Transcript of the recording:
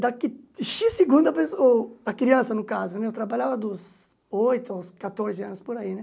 Daqui xis segundos a pesso o a criança, no caso, eu trabalhava dos oito aos catorze anos, por aí, né?